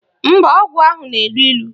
Mba, ọgwụ ahụ na-elu ilu